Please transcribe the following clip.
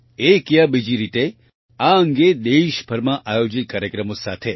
એક યા બીજી રીતે આ અંગે દેશભરમાં આયોજિત કાર્યક્રમો સાથે 1